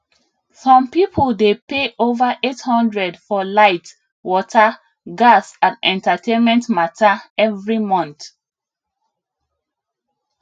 some people dey pay over 800 for light water gas and entertainment matter every month